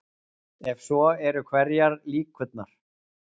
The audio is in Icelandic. Ef svo er hverjar eru líkurnar?